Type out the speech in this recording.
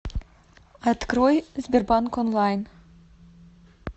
открой сбербанк онлайн